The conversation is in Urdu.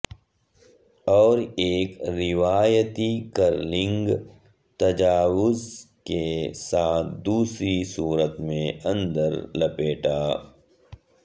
اور ایک روایتی کرلنگ تجاویز کے ساتھ دوسری صورت میں اندر لپیٹا